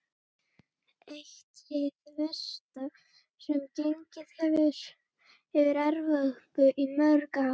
Eitt hið versta sem gengið hefur yfir Evrópu í mörg ár.